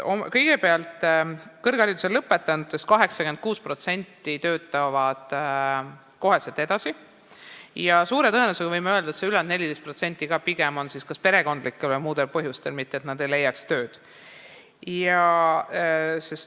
Kõigepealt, kõrgkooli lõpetanutest 86% lähevad kohe tööle ja võime öelda, et suure tõenäosusega ülejäänud 14% ei tee seda pigem kas perekondlikel või muudel põhjustel, mitte sellepärast, et nad ei leiaks tööd.